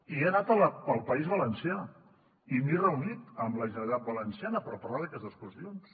i he anat al país valencià i m’he reunit amb la generalitat valenciana per parlar d’aquestes qüestions